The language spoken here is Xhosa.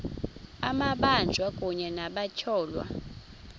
amabanjwa kunye nabatyholwa